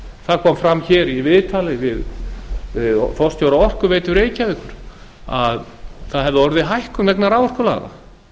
það kom fram í viðtali við forstjóra orkuveitu reykjavíkur að orðið hefði hækkun vegna raforkulaga